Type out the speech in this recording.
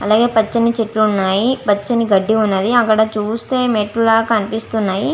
అలాగే పచ్చని చెట్లు ఉన్నాయి. పచ్చని గడ్డి ఉన్నది. అక్కడ చూస్తే మెట్లు లాగా కనిపిస్తున్నాయి.